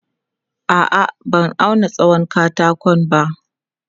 A'a, ban auna tsawon katakon ba.